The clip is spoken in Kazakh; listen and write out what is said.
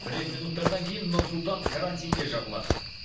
бірер минуттардан кейін нұр сұлтан карантинге жабылады